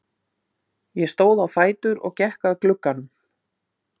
Ég stóð á fætur og gekk að glugganum.